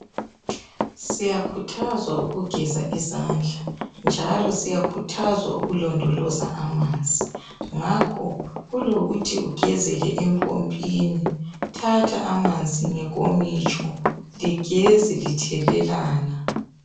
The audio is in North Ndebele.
Siyakhuthazwa ukugeza izandla njalo ukulondoloza amanzi ngakho kulokuthi ugezele empompini, thatha amanzi ngenkomitsho ligeze lithelelana.